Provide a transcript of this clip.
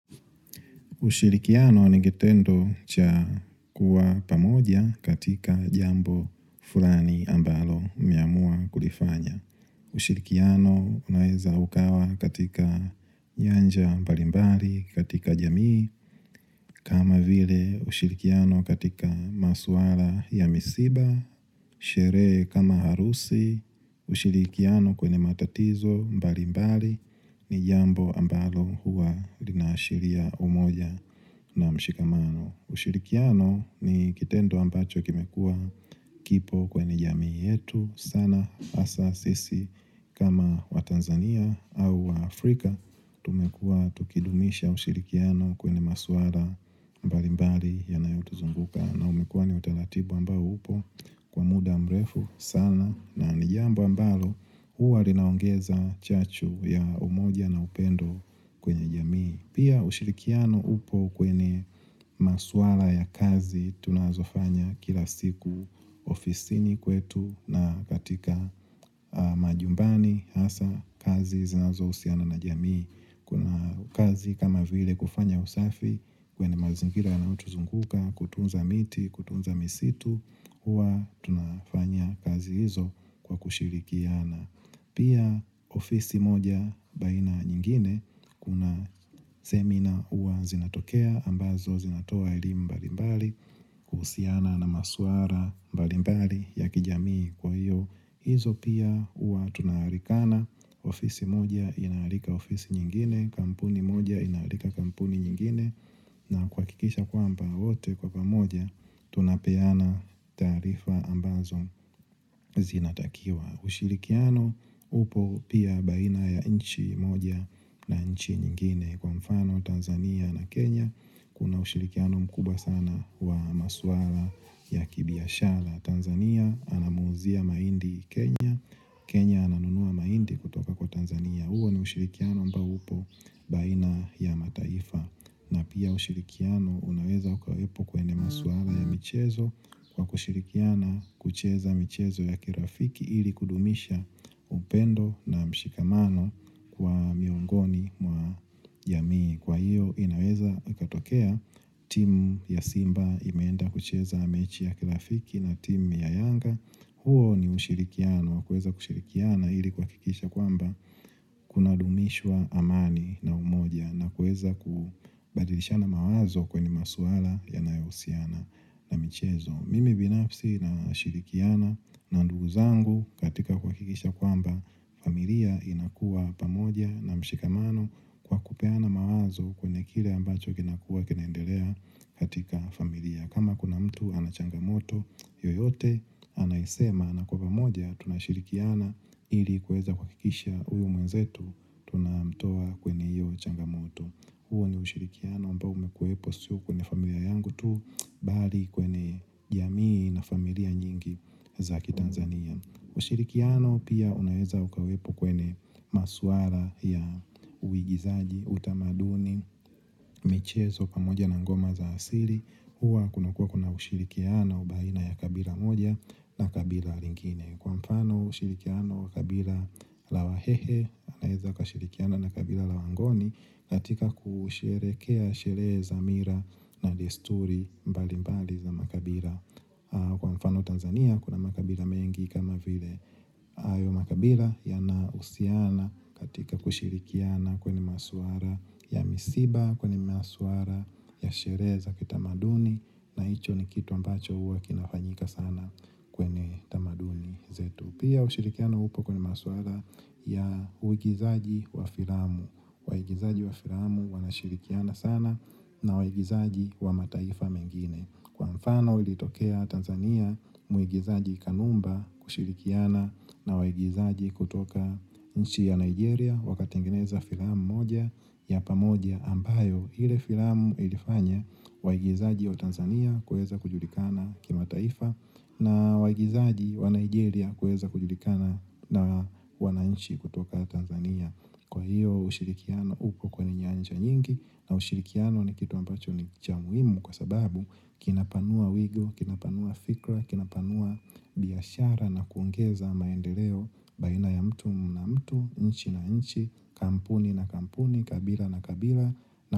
Ushirikiano ni kitendo cha kuwa pamoja katika jambo fulani ambalo umeamua kulifanya. Ushirikiano unaweza ukawa katika nyanja mbali mbali katika jamii. Kama vile ushirikiano katika masuara ya misiba, sherehe kama harusi. Ushirikiano kwenye matatizo mbali mbali ni jambo ambalo huwa linaashiria umoja na mshikamano ushirikiano ni kitendo ambacho kimekua kipo kwenye jamii yetu sana hasa sisi kama wa Tanzania au waafrika tumekua tukidumisha ushirikiano kwenye maswala mbali mbali yanayotuzumbuka na umekuwa ni utaratibu ambao upo kwa muda mrefu sana na nijambo ambalo huwa linaongeza chachu ya umoja na upendo kwenye jamii. Pia ushirikiano upo kwenye maswala ya kazi tunazofanya kila siku ofisini kwetu na katika majumbani hasa kazi zinazo husiana na jamii. Kuna kazi kama vile kufanya usafi, kwenye mazingira yanayotuzunguka, kutunza miti, kutunza misitu, hua tunafanya kazi hizo kwa kushirikiana. Pia ofisi moja baina nyingine, kuna seminar hua zinatokea ambazo zinatoa elimu mbalimbali, kuhusiana na maswala mbalimbali ya kijamii kwa hiyo. hIzo pia hua tunaalikana ofisi moja inaalika ofisi nyingine, kampuni moja inaalika kampuni nyingine na kuhakikisha kwamba wote kwa pamoja, tunapeana taarifa ambazo zinatakiwa ushirikiano upo pia baina ya inchi moja na inchi nyingine Kwa mfano Tanzania na Kenya, kuna ushirikiano mkubwa sana wa maswala ya kibiashara Tanzania anamuuzia mahindi Kenya Kenya ananunua mahindi kutoka kwa Tanzania huo ni ushirikiano ambao upo baina ya mataifa na pia ushirikiano unaweza ukawepo kwenye maswala ya michezo Kwa kushirikiana kucheza michezo ya kirafiki ili kudumisha upendo na mshikamano kwa miongoni mwa jamii Kwa hiyo inaweza katokea timu ya simba imeenda kucheza mechi ya kirafiki na team ya yanga, huo ni ushirikiano, kuweza kushirikiana ili kuhakikisha kwamba kuna dumishwa amani na umoja na kuweza kubadilishana mawazo kwenye maswala yanayohusiana na michezo. Mimi binafsi na shirikiana na ndugu zangu katika kuhakikisha kwamba familia inakua pamoja na mshikamano kwa kupeana mawazo kwenye kile ambacho kina kuwa kinaendelea katika familia. Kama kuna mtu anachangamoto yoyote anaisema na kwa pamoja tunashirikiana ili kuweza kuhakikisha huyu mwenzetu tunamtoa kwenye hiyo changamoto. Huo ni ushirikiano ambao umekuwepo sio kwenye familia yangu tu bali kwenye jamii na familia nyingi za ki Tanzania. Ushirikiano pia unaweza ukawepo kwenye maswala ya uigizaji, utamaduni, michezo pamoja na ngoma za asili hua kunakua kuna ushirikiano baina ya kabila moja na kabila lingine kwa mfano ushirikiano kabila la wa hehe wanaweza kashirikiana na kabila la wangoni latika kusherehekea sherehe za mila na desturi mbali mbali za makabila kwa mfano Tanzania kuna makabila mengi kama vile hayo makabila ya na husiana katika kushirikiana kwenye maswala ya misiba kwenye maswala ya sherehe za kita maduni na hicho ni kitu ambacho huwa kinafanyika sana kwenye tamaduni zetu. Pia ushirikiano upo kwenye maswala ya uigizaji wa filamu. Waigizaji wa filamu wanashirikiana sana na waigizaji wa mataifa mengine. Kwa mfano ilitokea Tanzania muigizaji kanumba kushirikiana na waigizaji kutoka nchi ya Nigeria wakatingeneza filamu moja ya pamoja ambayo ile filamu ilifanya waigizaji wa Tanzania kuweza kujulikana kima taifa na waigizaji wa Nigeria kuweza kujulikana na wananchi kutoka Tanzania kwa hiyo ushirikiano uko kwenye nyanja nyingi na ushirikiano ni kitu ambacho ni chamuhimu kwa sababu kinapanua wigo, kinapanua fikra, kinapanua biashara na kuongeza maendeleo baina ya mtu na mtu nchi na nchi, kampuni na kampuni, kabila na kabila.